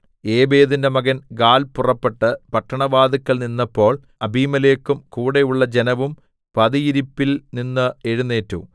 ഏബേദിന്റെ മകൻ ഗാല്‍ പുറപ്പെട്ട് പട്ടണവാതിൽക്കൽ നിന്നപ്പോൾ അബീമേലെക്കും കൂടെ ഉള്ള ജനവും പതിയിരിപ്പിൽ നിന്ന് എഴുന്നേറ്റു